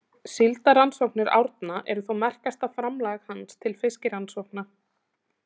Síldarrannsóknir Árna eru þó merkasta framlag hans til fiskirannsókna.